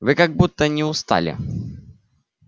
вы как будто не устали